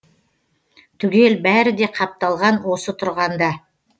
түгел бәрі де қапталған осы тұрғанда